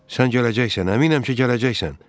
Sən gələcəksən, əminəm ki, gələcəksən.